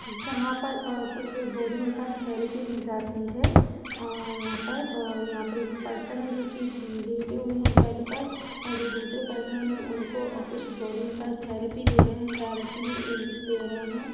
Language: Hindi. जहाँ पर अ कुछ बॉडी मसाज थेरेपी दी जाती है अ यहाँ पर और यहाँ पर एक पर्सन जो की लेटे हुई है बेड पर और जो दूसरे पर्सन उनको अ कुछ बॉडी मसाज थेरेपी दे रहे है थेरेपी इस दे रहे है।